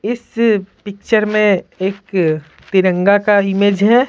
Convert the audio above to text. इस पिक्चर में एक तिरंगा का इमेज है।